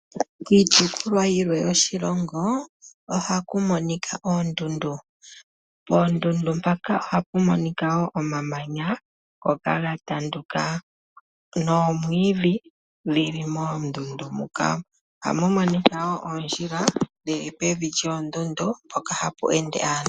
Kiitopolwa yilwe yoshilongo ohaku monika oondundu. Poondundu mpaka ohapu monika wo omamanya ngoka ga tanduka, noomwiidhi dhili moondundu moka. Ohamu monika woo oondjila dhili pevi lyoondundu mpoka hapu ende aantu.